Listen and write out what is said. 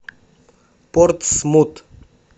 портсмут